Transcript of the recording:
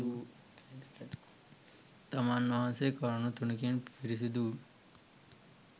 තමන් වහන්සේ කරුණු තුනකින් පිරිසිදු වූ